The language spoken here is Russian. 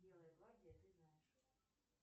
белая гвардия ты знаешь